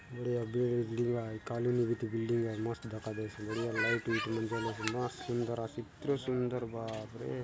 बढ़िया बिल्डिंग आय कॉलोनी बीती बिल्डिंग आय मस्त दखा देयसे बढ़िया लाइट वाइट मन जलेसे मस्त सुंदर आसे इतरो सुंदर बाप रे --